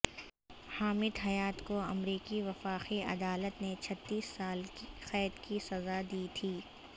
حامد حیات کو امریکی وفاقی عدالت نے چھتیس سال قید کی سزا دی تھی